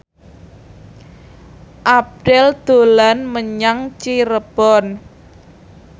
Abdel dolan menyang Cirebon